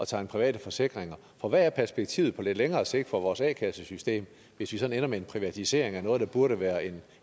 tegne private forsikringer for hvad er perspektivet på lidt længere sigt for vores a kassesystem hvis vi ender med en privatisering af noget der burde være en